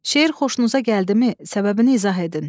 Şeir xoşunuza gəldimi, səbəbini izah edin.